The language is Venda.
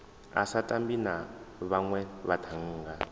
a sa tambi na vhanwevhathannga